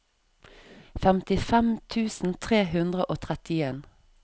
femtifem tusen tre hundre og trettien